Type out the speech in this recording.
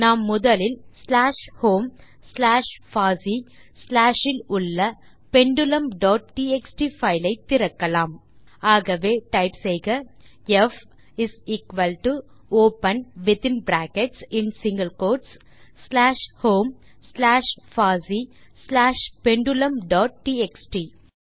நாம் முதலில் slash home slash fossee slash இல் உள்ள பெண்டுலும் டாட் டிஎக்ஸ்டி பைல் ஐ திறக்கலாம் ஆகவே டைப் செய்க f is equal to open within brackets மற்றும் single quotes slash home slash fossee slash pendulum dot TXT